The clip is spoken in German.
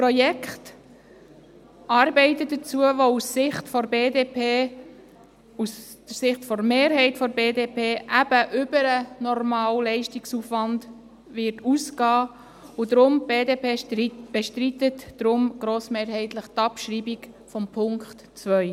Dies ist ein Projekt, mit Arbeiten, die – aus Sicht der BDP, aus der Sicht der Mehrheit der BDP – eben über den normalen Leistungsaufwand hinausgehen werden, und deswegen bestreitet die BDP grossmehrheitlich die Abschreibung von Punkt 2.